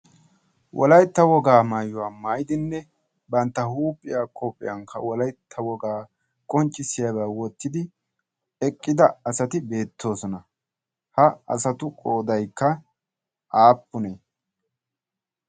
Wolaytta wogaa maayuwaa maidinne bantta huuphiya kophiyan ka wolaytta wogaa qonccissiyaabaa wottidi eqqida asati beettoosona ha asatu qoodaikka aappunee?